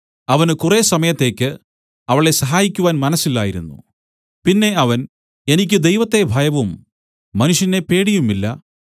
അവന് കുറെ സമയത്തേക്ക് അവളെ സഹായിക്കുവാൻ മനസ്സില്ലായിരുന്നു പിന്നെ അവൻ എനിക്ക് ദൈവത്തെ ഭയവും മനുഷ്യനെ പേടിയുമില്ല